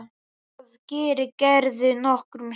Það gerir Gerður nokkrum sinnum.